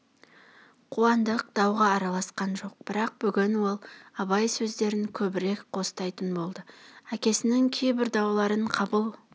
қуандық дауға араласқан жоқ бірақ бүгін ол абай сөздерін көбірек қостайтын болды әкесінің кейбір дауларын қабыл